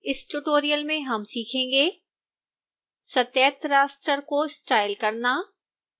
इस ट्यूटोरियल में हम सीखेंगे सतत raster को स्टाइल करना